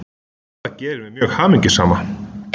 Það gerir mig mjög hamingjusama